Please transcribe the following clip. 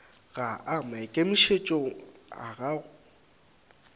ga a maikemišetšong a go